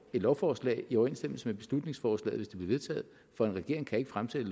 lovforslag i overensstemmelse med beslutningsforslaget hvis vedtaget for en regering kan ikke fremsætte